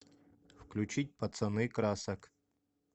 включить пацаны красок